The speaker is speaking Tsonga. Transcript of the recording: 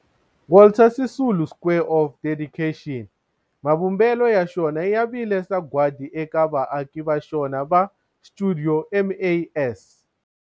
Walter Sisulu Square of Dedication, mavumbelo ya xona ya vile sagwadi eka vaaki va xona va stuidio MAS.